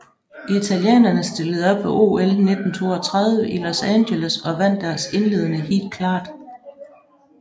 Italienerne stillede op ved OL 1932 i Los Angeles og vandt deres indledende heat klart